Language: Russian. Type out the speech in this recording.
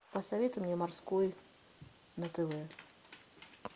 посоветуй мне морской на тв